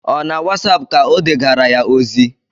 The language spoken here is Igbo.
Ọ na wasapụ ka o degara ya ozi?